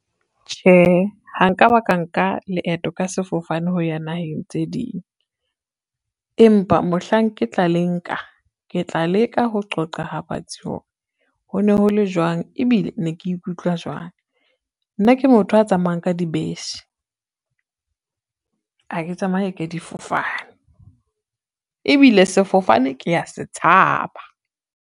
Tjhehe, ha nka ba ka nka leeto ka sefofane ho ya naheng tse ding. Empa mohlang ke tla le nka ke tla leka ho qoqa ha batsi hore, ho ne ho le jwang ebile ne ke ikutlwa jwang. Nna ke motho a tsamayang ka dibese, ha ke tsamaye ka difofane, ebile sefofane ke ya se tshaba.